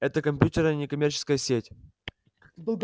это компьютерная некоммерческая сеть